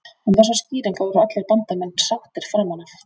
Um þessa skýringu voru allir Bandamenn sáttir framan af.